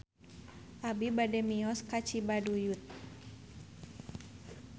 Abi bade mios ka Cibaduyut